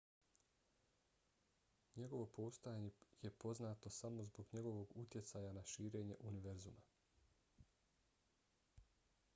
njegovo postojanje je poznato samo zbog njegovog utjecaja na širenje univerzuma